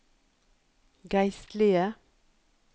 geistlige